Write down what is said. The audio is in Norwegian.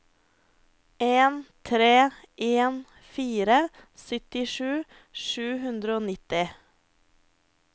en tre en fire syttisju sju hundre og nitti